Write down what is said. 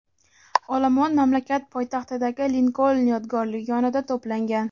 olomon mamlakat poytaxtidagi Linkoln yodgorligi yonida to‘plangan.